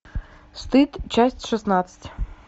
стыд часть шестнадцать